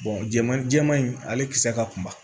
jɛman jɛman in ale kisɛ ka kunba